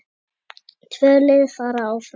Tvö lið fara áfram.